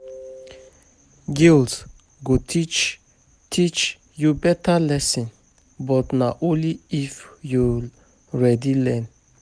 Guilt go teach teach you better lesson, but na only if you ready learn.